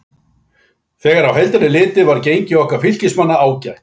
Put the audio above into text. Þegar á heildina er litið var gengi okkar Fylkismanna ágætt.